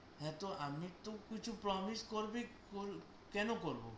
হ্যাঁ তো আমি তো কিছু promise করবে কর, কেন করবো?